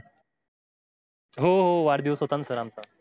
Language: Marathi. हो हो वाढदिवस होता न sir आमचा